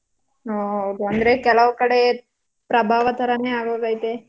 ಹಾ ಹೌದ್ ಅಂದ್ರೆ ಕೆಲವ್ ಕಡೆ ಪ್ರಭಾವ ಥರಾನೇ ಆಗೋಗೈತೆ.